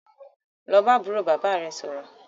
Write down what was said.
Lọ bá àbúrò bàbá é sọ̀rọ̀!